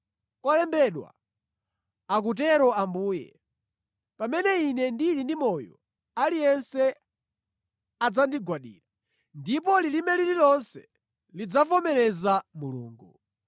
Kwalembedwa, akutero Ambuye, “Pamene Ine ndili ndi moyo, aliyense adzandigwadira ndipo lilime lililonse lidzavomereza Mulungu.”